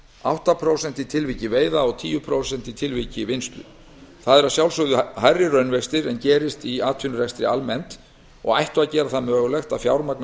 átta prósent í tilviki veiða og tíu prósent í tilviki vinnslu það eru að sjálfsögðu hærri raunvextir en gerist í atvinnurekstri almennt og ættu að gera það mögulegt að fjármagna